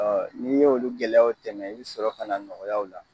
Ɔ n'i y' olu gɛlɛyaw tɛmɛ, i bɛ sɔrɔ ka na nɔgɔyaw la.